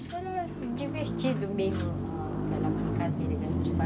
Isso era divertido mesmo, aquela brincadeira que a gente faz